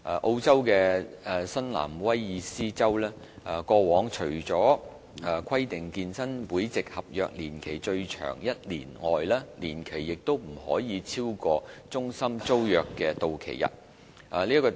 澳洲的新南威爾士州過往除規定健身會籍合約年期最長1年外，年期亦不可以超過中心租約的到期日。